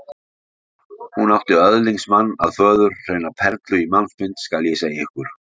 Hún átti öðlingsmann að föður, hreina perlu í mannsmynd, skal ég segja ykkur.